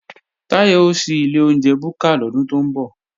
Táyọ̀ ó ṣí ilé oúnjẹ búkà lọ́dún tó ń bọ̀